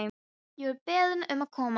Ég var beðinn um að koma.